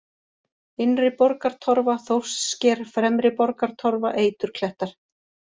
Innri-Borgartorfa, Þórssker, Fremri-Borgartorfa, Eiturklettar